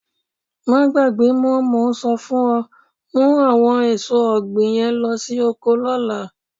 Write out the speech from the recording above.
Máa gbàgbé mọ, mo ń sọ fún ọ, mú àwọn èso ọ̀gbìn yẹn lo sí oko lọ́la.